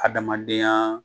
Adamadenya